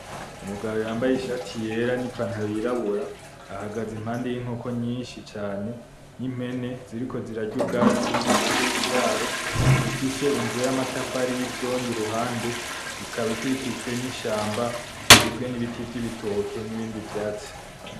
Umugabo yambaye ishati yera ni pantaro yirabura, ahagaze impande y'inkoko nyishi cane n'impene ziriko zirarya ubwatsi impande y'ikiraro, gifise inzu y'amatafari yi vyondo iruhande ikaba ikikijwe ni shamba. Igizwe ni biti vyibitoke ni bindi vyatsi.